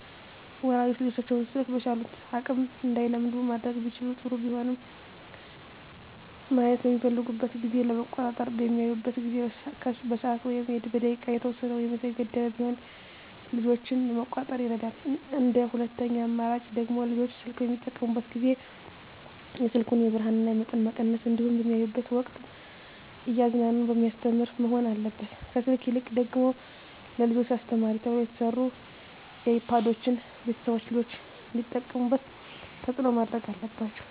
ወላጆች ልጆቻቸውን ስልክ በቻሉት አቅም እንዳይለምዱ ማድረግ ቢችሉ ጥሩ ቢሆንም ማየት በሚፈልጉበት ጊዜ ለመቆጣጠር በሚያዩበት ጊዜ በሰዓት ወይም በደቂቃ የተወሰነ ወይም የተገደበ ቢሆን ልጆችን ለመቆጣጠር ይረዳል እንደ ሁለተኛ አማራጭ ደግሞ ልጆች ስልክ በሚጠቀሙበት ጊዜ የስልኩን የብርሀኑን መጠን መቀነስ እንዲሁም በሚያዩበት ወቅትም እያዝናና በሚያስተምር መሆን አለበት ከስልክ ይልቅ ደግሞ ለልጆች አስተማሪ ተብለው የተሰሩ አይፓዶችን ቤተሰቦች ልጆች እንዲጠቀሙት ተፅዕኖ ማድረግ አለባቸው።